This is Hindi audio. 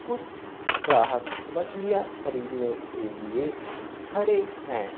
कुछ ग्राहक मछलियां खरीदने के लिए खड़े हैं।